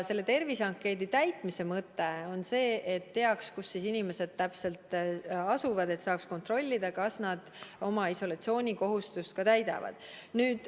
Selle terviseankeedi täitmise mõte on see, et oleks teada, kus inimesed täpselt asuvad, sest siis saab kontrollida, kas nad oma isolatsioonikohustust täidavad.